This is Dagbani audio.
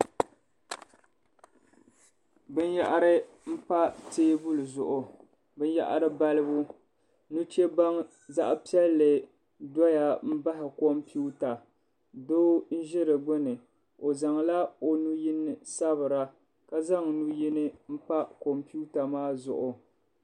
Bin yahiri n pa teebuli zuɣu bin yahiri balibu nuche baŋ zaɣa piɛlli doya baɣi kompiwta doo n ʒi di gbuni o zaŋ la o nuu yini n sabira ka zaŋ nuu yini n pa kompiwta maa zuɣu.